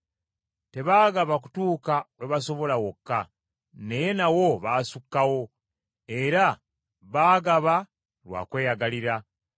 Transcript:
Tebaagaba kutuuka we basobola wokka, naye nawo baasukkawo, era baagaba lwa kweyagalira.